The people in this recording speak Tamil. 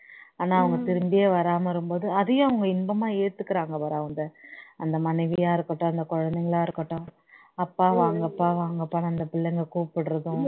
ஆனா அவங்க திரும்பியே வராம வரும்போது அதையே அவங்க இன்பமா எத்துக்க்க்குறாங்க பாரு அவங்க மனைவியா இருக்கட்டும் அந்த குழந்தைங்களா இருக்கட்டும் அப்பா வாங்கப்பா வாங்கப்பான்னு அந்த பிள்ளைங்க கூப்பிடறதும்